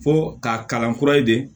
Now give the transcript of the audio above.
Fɔ k'a kalan kura ye de